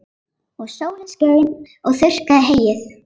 Og sólin skein og þurrkaði heyið.